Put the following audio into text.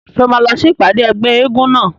Ṣé o máa lọ sí ìpàdé ẹgbẹ́ eégún náà?